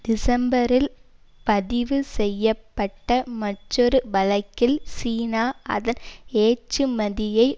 டிசம்பரில் பதிவு செய்ய பட்ட மற்றொரு வழக்கில் சீனா அதன் ஏற்றுமதியை